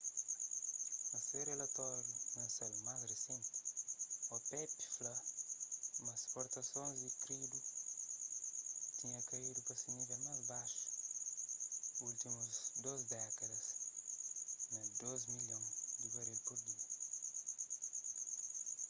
na se relatóriu mensal más risenti opep fla ma isportasons di krudi tinha kaidu pa se nível más baxu últimus dôs dékadas na 2,8 milhon di baril pur dia